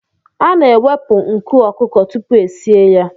A na-ewepụ nku ọkụkọ tupu esie ya.